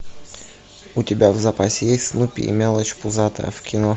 у тебя в запасе есть снупи и мелочь пузатая в кино